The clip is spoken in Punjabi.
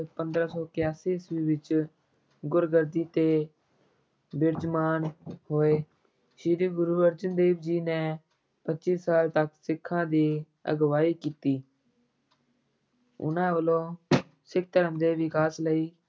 ਗੁਰਗੱਦੀ ਤੇ ਬਿਰਾਜਮਾਨ ਹੋਏ, ਸ੍ਰੀ ਗੁਰੂ ਅਰਜਨ ਦੇਵ ਜੀ ਨੇ ਪੱਚੀ ਸਾਲ ਤੱਕ ਸਿੱਖਾਂ ਦੀ ਅਗਵਾਈ ਕੀਤੀ ਉਹਨਾਂ ਵੱਲੋਂ ਸਿੱਖ ਧਰਮ ਦੇ ਵਿਕਾਸ ਲਈ